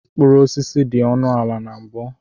Mkpụrụ osisi dị ọnụ ala na mbu.